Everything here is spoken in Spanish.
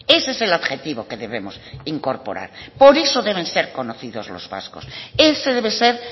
ese es el objetivo que debemos incorporar por eso deben ser conocidos los vascos ese debe ser